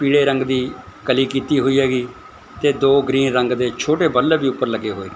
ਪੀਲੇ ਰੰਗ ਦੀ ਕਲੀ ਕੀਤੀ ਹੋਈ ਹੈਗੀ ਤੇ ਦੋ ਗ੍ਰੀਨ ਰੰਗ ਦੇ ਛੋਟੇ ਬਲਵ ਵੀ ਉੱਪਰ ਲੱਗੇ ਹੋਏ।